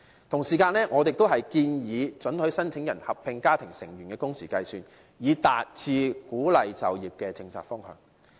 同時，我們亦建議准許申請人合併家庭成員的工時計算，以達致鼓勵就業的政策方向。